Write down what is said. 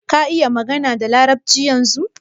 Ka iƴa magana da larabci ƴanzun?